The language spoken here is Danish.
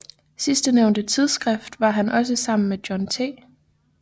Sidstnævnte tidsskrift var han også sammen med John T